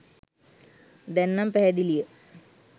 දැන් නන් පැහැදිලිය